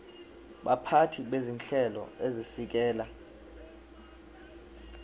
baphathi bezinhlelo ezisekela